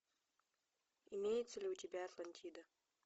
имеется ли у тебя атлантида